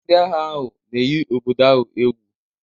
Ndị agha ahụ na-eyi obodo ahụ egwu